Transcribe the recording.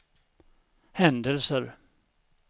händelser